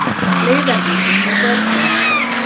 Leiðarvísir með börnum.